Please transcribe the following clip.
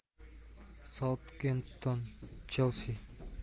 саутгемптон челси